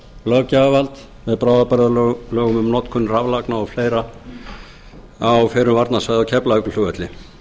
löggjafarvald með bráðabirgðalögum um notkun raflagna og fleiri á fyrrum varnarsvæði á keflavíkurflugvelli